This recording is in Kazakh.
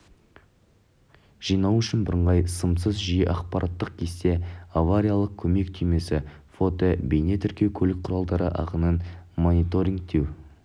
жинау үшін бірыңғай сымсыз жүйе ақпараттық кесте авариялық көмек түймесі фотобейнетіркеу көлік құралдары ағынын мониторингтеу